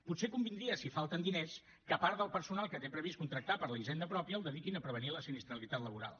potser convindria si falten diners que part del personal que té previst contractar per a la hisenda pròpia el dediqués a prevenir la sinistralitat laboral